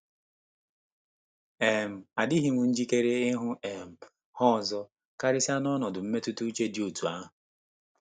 um Adịghị m njikere ịhụ um ha ọzọ, karịsịa n'ọnọdụ mmetụta uche dị otú ahụ.